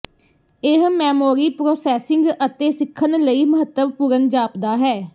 ਇਹ memory processing ਅਤੇ ਸਿੱਖਣ ਲਈ ਮਹੱਤਵਪੂਰਨ ਜਾਪਦਾ ਹੈ